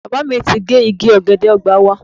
Bàbá mi ti gé igi ọ̀gẹ̀dẹ̀ ọgbà wa.